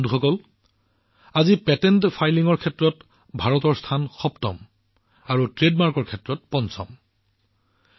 বন্ধুসকল আজি Bharat ranking patent ফাইলিঙত ৭ম আৰু ট্ৰেডমাৰ্কত পঞ্চম স্থানত আছে